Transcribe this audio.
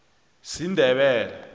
sindebele